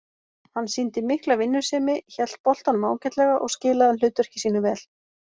Hann sýndi mikla vinnusemi, hélt boltanum ágætlega og skilaði hlutverki sínu vel.